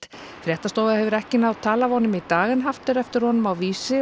fréttastofa hefur ekki náð tali af honum í dag haft er eftir honum á Vísi